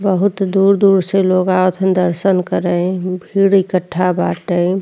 बहुत दूर-दूर से लोग आवत हन दर्शन करे। भीड़ इकट्ठा बाटे।